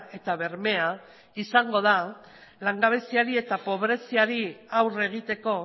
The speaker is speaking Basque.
eta bermea izango da langabeziari eta pobreziari aurre egiteko